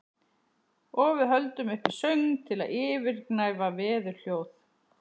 Og við höldum uppi söng til að yfirgnæfa veðurhljóð.